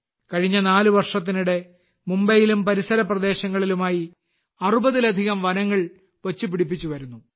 കഴിഞ്ഞ നാല് വർഷത്തിനിടെ മുംബൈയിലും പരിസര പ്രദേശങ്ങളിലുമായി 60ലധികം വനങ്ങൾ വച്ചു പിടിപ്പിച്ചു വരുന്നു